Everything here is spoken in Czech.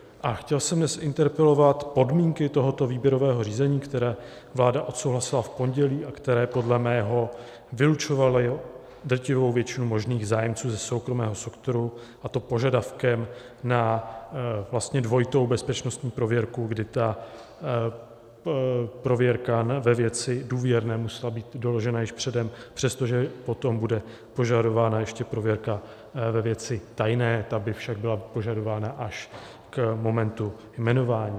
A chtěl jsem dnes interpelovat podmínky tohoto výběrového řízení, které vláda odsouhlasila v pondělí a které podle mého vylučovaly drtivou většinu možných zájemců ze soukromého sektoru, a to požadavkem na dvojitou bezpečnostní prověrku, kdy ta prověrka ve věci důvěrné musela být doložena již předem, přestože potom bude požadována ještě prověrka ve věci tajné, ta by však byla požadována až k momentu jmenování.